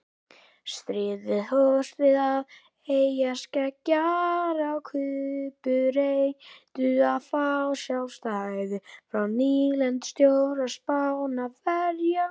Stríðið hófst við það að eyjarskeggjar á Kúbu reyndu að fá sjálfstæði frá nýlendustjórn Spánverja.